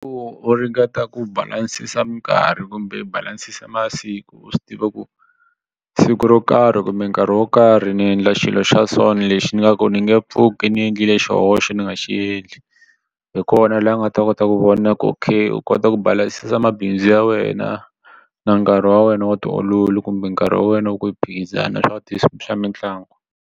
U ringeta ku balasisa mikarhi kumbe u balasisa masiku u swi tiva ku siku ro karhi kumbe nkarhi wo karhi ni endla xilo xa so ni lexi ni nga ku ni nge pfuki ndzi endlile xihoxo na ni nga xi endli hi kona laha u nga ta kota ku vona ku okay u kota ku balansa mabindzu ya wena na nkarhi wa wena wu tiololi kumbe nkarhi wa wena wu ku phikizana swa ti swa mitlangu.